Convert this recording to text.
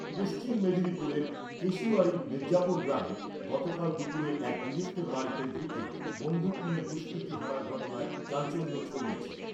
পশ্চিম মেদিনীপুরের কেশিয়াড়ীর মির্জাপুর গ্রামে গতকাল দুপুরে এক গৃহস্থের বাড়িতে ঢুকে বন্ধুক নিয়ে দুষ্কৃতী হানার ঘটনায় চাঞ্চল্য ছড়িয়েছে।